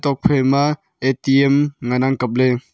ha phaima A_T_M ngan ang kap ley.